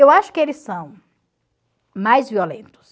Eu acho que eles são mais violentos.